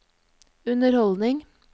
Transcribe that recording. underholdning